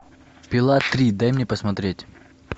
пила три дай мне посмотреть